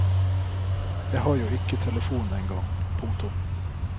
Jeg har jo ikke telefon engang. punktum